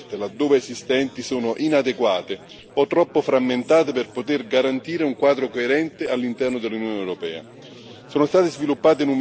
Purtroppo le protezioni offerte, laddove esistenti, sono inadeguate o troppo frammentate per poter garantire un quadro coerente all'interno dell'Unione europea.